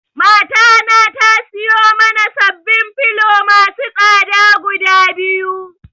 Mata na tasiyo mana sababbin filo masu tsada guda biyu.